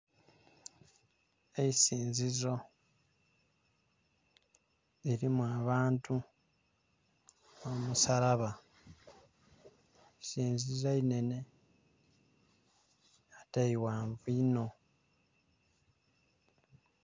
Eisinzizo lirimu abantu n'omusalaba, eisinzizo inhenhe nga ate ighanvu inho.